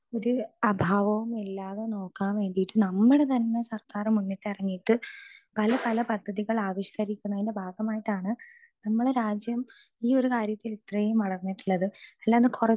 speaker 2 ഒരു അഭാവവും ഇല്ലാതെ നോക്കാൻ വേണ്ടിയിട്ട് നമ്മടെ തന്നെ സർക്കാർ മുന്നിട്ട് ഇറങ്ങിയിട്ട് പല പല പദ്ധതികൾ ആവഷ്കരിക്കുന്നതിന്റെ ഭാഗമായിട്ടാണ് നമ്മടെ രാജ്യം ഈ ഒരു കാര്യത്തിൽ ഇത്രയും വളർന്നിട്ടുള്ളത്